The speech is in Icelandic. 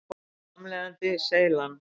Framleiðandi: Seylan.